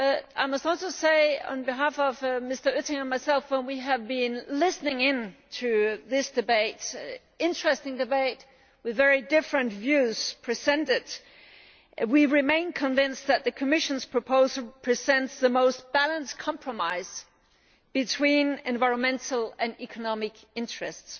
I must also say on behalf of Mr Oettinger and myself that, as we have been listening to this debate an interesting debate with very different views presented we have remained convinced that the Commission's proposal presents the most balanced compromise between environmental and economic interests.